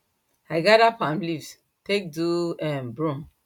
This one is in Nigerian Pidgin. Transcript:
i gather palm leaves take do um broom